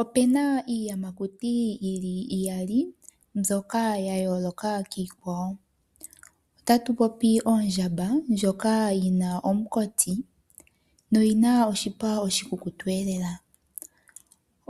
Opuna iiyamakuti yili iyali mbyoka yayooloka kiikwawo. Otatu popi ondjamba ndjoka yina omukati noyi na noshipa oshikukutu elela.